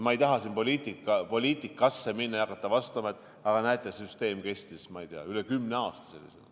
Ma ei taha siin poliitikasse minna ja hakata vastama, et aga näete, süsteem kestis sellisena üle kümne aasta.